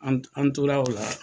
An tora o la.